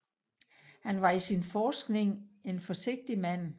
Han var i sin forskning en forsigtig mand